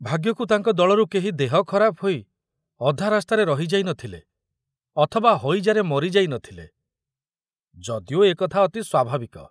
ଭାଗ୍ୟକୁ ତାଙ୍କ ଦଳରୁ କେହି ଦେହ ଖରାପ ହୋଇ ଅଧା ରାସ୍ତାରେ ରହି ଯାଇ ନଥିଲେ ଅଥବା ହଇଜାରେ ମରିଯାଇ ନଥିଲେ, ଯଦିଓ ଏ କଥା ଅତି ସ୍ବାଭାବିକ।